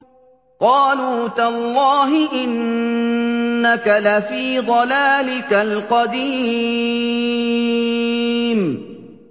قَالُوا تَاللَّهِ إِنَّكَ لَفِي ضَلَالِكَ الْقَدِيمِ